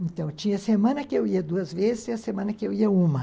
Então, tinha semana que eu ia duas vezes e a semana que eu ia uma.